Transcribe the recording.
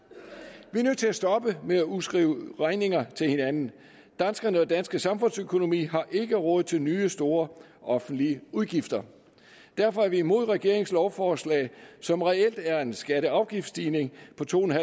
er nødt til at stoppe med at udskrive regninger til hinanden danskerne og den danske samfundsøkonomi har ikke råd til nye store offentlige udgifter derfor er vi imod regeringens lovforslag som reelt er en skatteafgiftsstigning på to